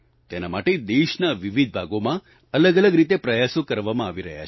તેને માટે દેશના વિવિધ ભાગોમાં અલગઅલગ રીતે પ્રયાસો કરવામાં આવી રહ્યા છે